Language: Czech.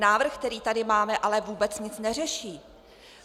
Návrh, který tady máme, ale vůbec nic neřeší.